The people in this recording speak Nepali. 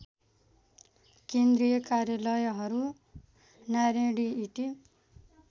केन्द्रीय कार्यालयहरू नारायणहिटी